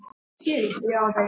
var við hæfi að spyrja.